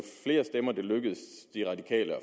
flere stemmer det lykkes de radikale at